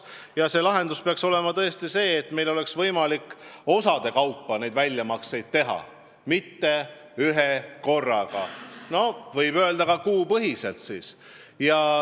Ja lahendus peaks olema see, et meil oleks võimalik osade kaupa neid väljamakseid teha – mitte ühekorraga, vaid näiteks kuupõhiselt.